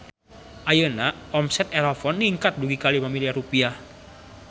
Ayeuna omset Erafon ningkat dugi ka 5 miliar rupiah